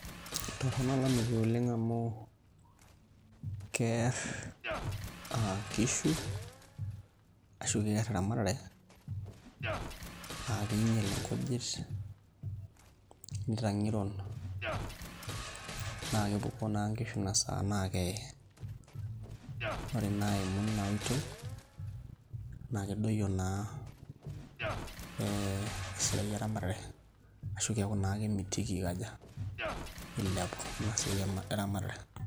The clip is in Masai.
Etorono olameyu oleng amu kear nkishu ashu kear eramatare aa kinyel nkijit nitangerun na kepuku na naimu inaoitoi na kedoyo na esiaia eramatare neaku ilepu inasiaia eramatare.